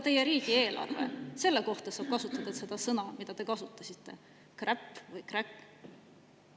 Teie riigieelarve kohta saab kasutada seda sõna, mida te kasutasite, kräpp või kräkk.